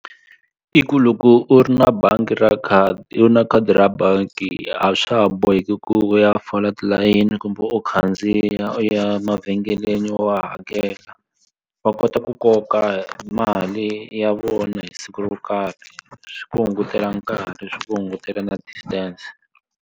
I ku loko u ri na bangi ra khadi u na khadi ra bangi a swa ha boheki ku u ya fola tilayini kumbe u khandziya u ya mavhengeleni wa hakela wa kota ku koka mali ya vona hi siku ro karhi swi ku hungutela nkarhi swi ku hungutela na distance.